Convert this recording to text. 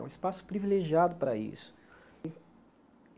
É um espaço privilegiado para isso.